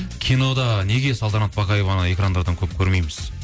кинода неге салтанат бақаеваны экрандардан көп көрмейміз